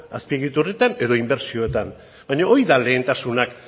azpiegituratan edo inbertsioetan baina hori da lehentasunak